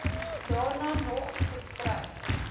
daarna nog geskryf